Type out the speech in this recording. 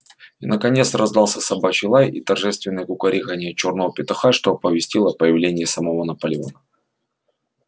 и наконец раздался собачий лай и торжественное кукареканье чёрного петуха что оповестило о появлении самого наполеона